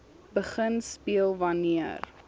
begin speel wanneer